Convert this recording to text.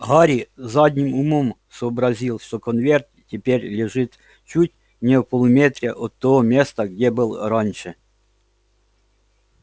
гарри задним умом сообразил что конверт теперь лежит чуть не в полуметре от того места где был раньше